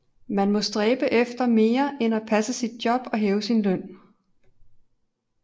Man må stræbe efter mere end at passe sit job og hæve sin løn